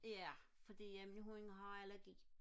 ja fordi at min hund har allergi